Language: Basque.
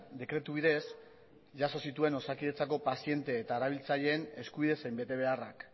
dekretu bidez jaso zituen osakidetzako paziente eta erabiltzaileen eskubide zein betebeharrak